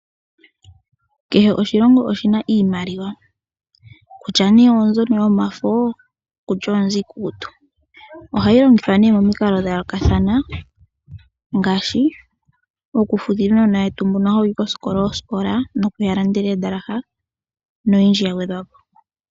Kehe oshilongo oshina iimaliwa kutya nee oombyono yomafo nenge oombyo iikukutu. Ohayi longithwa nee momikalo dha yookathana, ngaashi oku futila oosikola uunona wetu mbono ha wuyi kosikola no kuya landela oondalaha noyindji ya gwedhwapo.